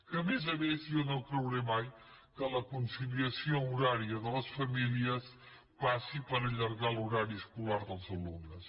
que a més a més jo no creuré mai que la conciliació horària de les famílies passi per allargar l’horari escolar dels alumnes